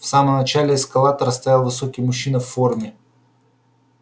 в самом начале эскалатора стоял высокий мужчина в форме